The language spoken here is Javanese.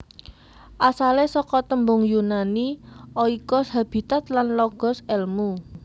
Asalé saka tembung Yunani oikos habitat lan logos èlmu